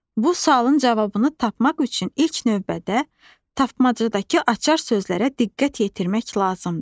Bu sualın cavabını tapmaq üçün ilk növbədə tapmacadakı açar sözlərə diqqət yetirmək lazımdır.